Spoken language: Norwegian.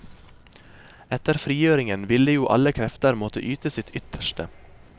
Etter frigjøringen ville jo alle krefter måtte yte sitt ytterste.